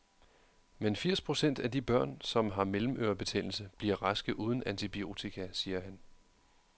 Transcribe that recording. Men firs procent af de børn, som har mellemørebetændelse, bliver raske uden antibiotika, siger han.